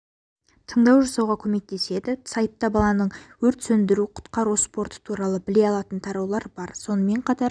таңдау жасауға көмектеседі сайтта баланың өрт сөндіру-құтқару спорты туралы біле алатын тараулар бар сонымен қатар